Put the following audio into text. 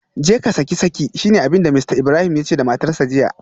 Jeka saki saki shine abinda Mr Ibrahim yace da matarsa ​​jiya